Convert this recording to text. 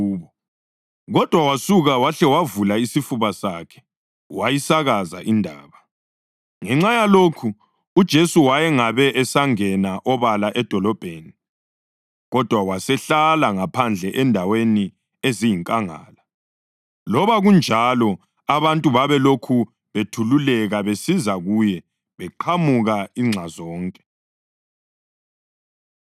Kodwa wasuka wahle wavula isifuba sakhe wayisakaza indaba. Ngenxa yalokho uJesu wayengabe esangena obala edolobheni, kodwa wasehlala ngaphandle endaweni eziyinkangala. Loba kunjalo abantu babelokhu bethululeka besiza kuye beqhamuka inxa zonke.